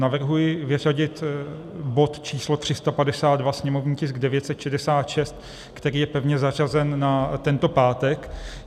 Navrhuji vyřadit bod č. 352, sněmovní tisk 966, který je pevně zařazen na tento pátek.